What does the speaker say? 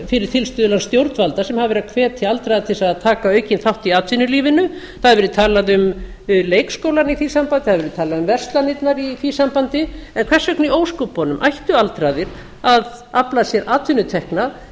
fyrir tilstuðlan stjórnvalda sem hafa verið að hvetja aldraða til að taka aukinn þátt í atvinnulífinu það hefur verið talað um leikskólann í því sambandi það hefur verið talað um verslanirnar í því sambandi en hvers vegna í ósköpunum ættu aldraðir að afla sér atvinnutekna